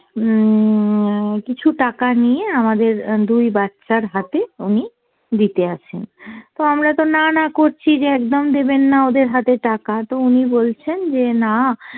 উম কিছু টাকা নিয়ে আমাদের দুই বাচ্চার হাতে উনি দিতে আসেন। তো আমরা তো না না করছি যে একদম দেবেন না ওদের হাতে টাকা, তো উনি বলছেন যে না